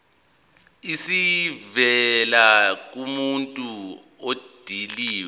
esivela kumuntu odilive